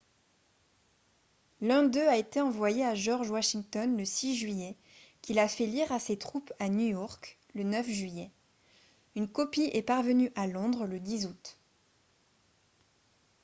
l'un d'eux a été envoyé à george washington le 6 juillet qui l'a fait lire à ses troupes à new york le 9 juillet une copie est parvenue à londres le 10 août